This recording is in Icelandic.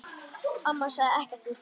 Amma sagði ekkert við því.